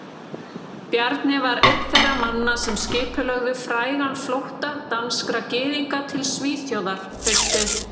Bjarni var einn þeirra manna sem skipulögðu frægan flótta danskra gyðinga til Svíþjóðar haustið